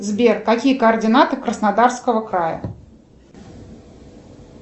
сбер какие координаты краснодарского края